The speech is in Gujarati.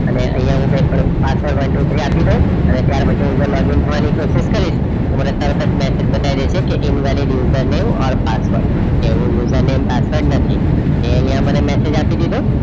અને અહીંયા હું કંઈ પણ પાસવર્ડ one, two, three આપી દઉં અને ત્યાર પછી login થવાની પ્રોસેસ કરીશ તો મને તરત જ message બતાવી દેશે કે email user name or password કે user name પાસવર્ડ નથી એ અહીંયા મને આપી દીધો